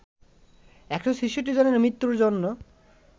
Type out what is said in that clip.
১৬৬ জনের মৃত্যুর জন্য